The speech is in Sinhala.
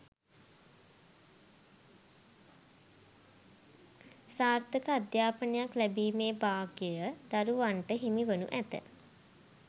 සාර්ථක අධ්‍යාපනයක් ලැබීමේ භාග්‍යය දරුවන්ට හිමි වනු ඇත